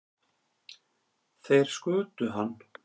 Þeir skutu hann